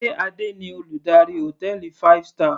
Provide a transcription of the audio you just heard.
Sé Adé ni Olùdarí hòtẹ́ẹ̀lì five star.